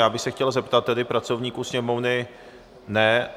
Já bych se chtěl zeptat tedy pracovníků Sněmovny... ne?